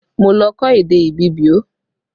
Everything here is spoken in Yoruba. Mo lọ kọ́ èdè Ibibio